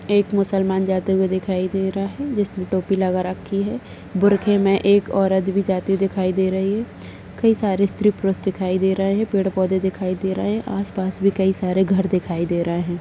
एक मुसलमान जाते हुए दिखाई दे रहा है जिसने टोपी लगा रखी है बुरखे में एक औरत भी जाती दिखाई दे रही है कई सारे स्त्री पुरुष दिखाई दे रहे हैं पेड़ पौधे दिखाई दे रहा है आसपास भी कई सारे घर दिखाई दे रहा है।